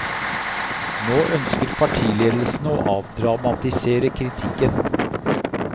Nå ønsker partiledelsen å avdramatisere kritikken.